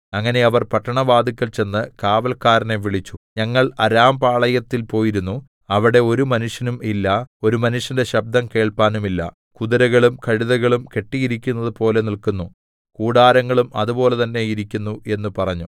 അങ്ങനെ അവർ പട്ടണവാതില്ക്കൽ ചെന്ന് കാവല്ക്കാരനെ വിളിച്ചു ഞങ്ങൾ അരാംപാളയത്തിൽ പോയിരുന്നു അവിടെ ഒരു മനുഷ്യനും ഇല്ല ഒരു മനുഷ്യന്റെ ശബ്ദം കേൾപ്പാനുമില്ല കുതിരകളും കഴുതകളും കെട്ടിയിരിക്കുന്ന പോലെ നില്ക്കുന്നു കൂടാരങ്ങളും അതുപോലെ തന്നേ ഇരിക്കുന്നു എന്ന് പറഞ്ഞു